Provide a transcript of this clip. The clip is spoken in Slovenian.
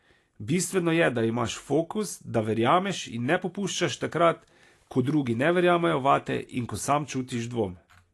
Bistveno je, da imaš fokus, da verjameš in ne popuščaš takrat, ko drugi ne verjamejo vate in ko sam čutiš dvom.